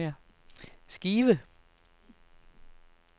skive